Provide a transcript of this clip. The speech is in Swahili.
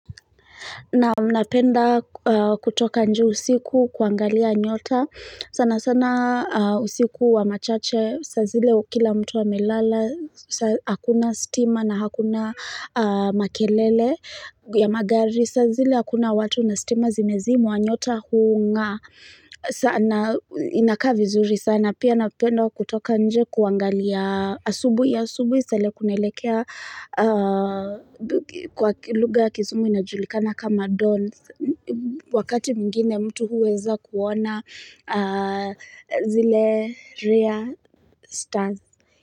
Naam napenda kutoka nje usiku kuangalia nyota. Sana sana usiku wa machache. Sazile kila mtu amelala. Hakuna stima na hakuna makelele. Ya magari sazile hakuna watu na stima zimezimwa nyota huung'aa. Sana inakavi zuri sana. Pia napenda kutoka nje kuangalia asubui. Asubui saa ile kunaelekea kwa luga ya kizungu inajulikana kama don wakati mwingine mtu huweza kuona zile rare stars.